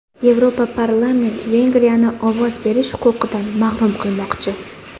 Yevroparlament Vengriyani ovoz berish huquqidan mahrum qilmoqchi.